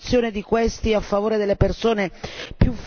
più fragili e, ovviamente quindi, delle donne.